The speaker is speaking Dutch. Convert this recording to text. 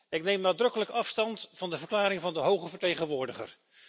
Ik neem nadrukkelijk afstand van de verklaring van de hoge vertegenwoordiger.